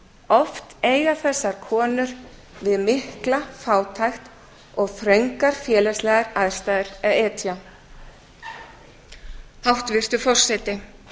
oft eiga þessar konur við mikla fátækt og þröngar félagslegar aðstæður að etja hæstvirtur forseti